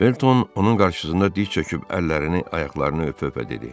Felton onun qarşısında diz çöküb əllərini, ayaqlarını öpə-öpə dedi: